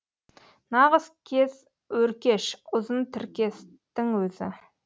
нағыз кез өркеш ұзын тіркестің өзі